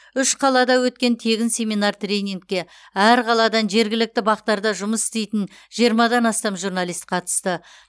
үш қалада өткен тегін семинар тренингке әр қаладан жергілікті бақ тарда жұмыс істейтін жиырмадан астам журналист қатысты